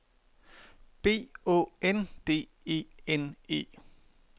B Å N D E N E